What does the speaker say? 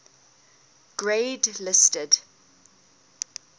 grade listed